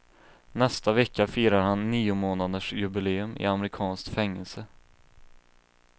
Nästa vecka firar han niomånadersjubileum i amerikanskt fängelse.